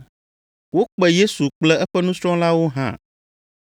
Wokpe Yesu kple eƒe nusrɔ̃lawo hã.